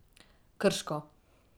Krško.